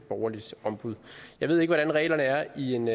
borgerligt ombud jeg ved ikke hvordan reglerne er i en